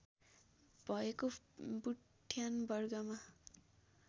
भएको बुट्यान वर्गमा